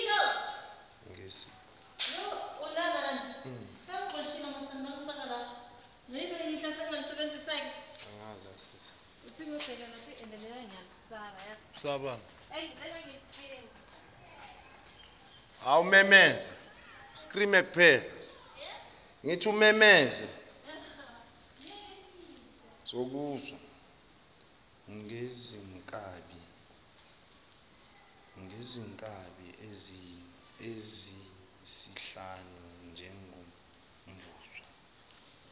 ngezinkabi eziyisihlanu njengomvuzo